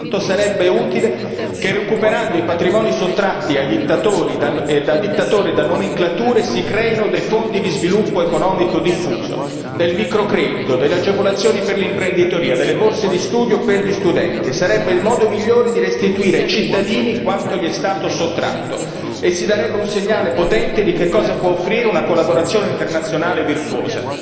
Ma quanto sarebbe utile che, recuperando i patrimoni sottratti da dittatori e da nomenclature, si creino dei fondi di sviluppo economico diffuso, del microcredito, delle agevolazioni per l'imprenditoria, delle borse di studio per gli studenti, e sarebbe il modo migliore per restituire ai cittadini quanto gli è stato sottratto e si darebbe un segnale potente di che cosa può offrire una collaborazione internazionale virtuosa.